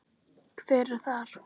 Hver er þar?